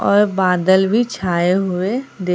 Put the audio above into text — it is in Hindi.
और बादल भी छाए हुए दे--